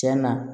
Tiɲɛna